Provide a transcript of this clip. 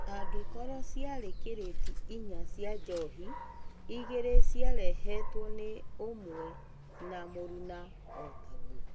Angĩkorwo ciarĩ kirĩti inya cia njohi, igĩrĩ ciarehetwo nĩ ũmwe na mũruna o-tagwo.